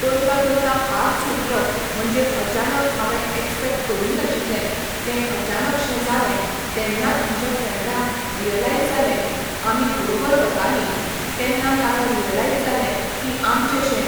करता करता हात सुटलो म्हणजे अचानक हांवें एक्स्पेक्ट करूंक नाशिल्लें तें अचानक शें जालें तेन्नात म्हज्या फ्रेंडान रियलाइज जालें आमी बरोबर वतालीं तेन्ना ताका रियलाइज जालें की आमचेशें